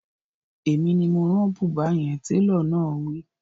Èmi ni mo rán bùbá yẹn, Télọ̀ náà wí